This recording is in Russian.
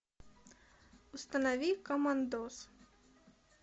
установи командос